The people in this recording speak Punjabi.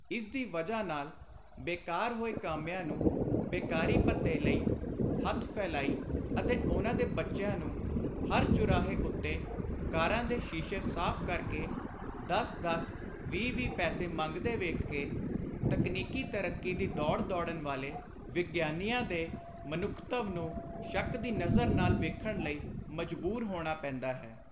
ਇਸਦੀ ਵਜ੍ਹਾ ਨਾਲ ਬੇਕਾਰ ਹੋਏ ਕਾਮਿਆਂ ਨੂੰ ਬੇਕਾਰੀ ਭੱਤੇ ਲਈ ਹੱਥ ਫੈਲਾਈ ਅਤੇ ਉਨ੍ਹਾਂ ਦੇ ਬੱਚਿਆਂ ਨੂੰ ਹਰ ਚੁਰਾਹੇ ਉੱਤੇ ਕਾਰਾਂ ਦੇ ਸ਼ੀਸ਼ੇ ਸਾਫ਼ ਕਰ ਕੇ ਦਸ ਦਸ ਵੀਹ ਵੀਹ ਪੈਸੇ ਮੰਗਦੇ ਵੇਖ ਕੇ, ਤਕਨੀਕੀ ਤਰੱਕੀ ਦੀ ਦੌੜ ਦੌੜਨ ਵਾਲੇ ਵਿਗਿਆਨਕਾਂ ਦੇ ਮਨੁੱਖਤਵ ਨੂੰ ਸ਼ੱਕ ਦੀ ਨਜ਼ਰ ਨਾਲ ਵੇਖਣ ਲਈ ਮਜਬੁਰ ਹੋਣਾ ਪੈਂਦਾ ਹੈ।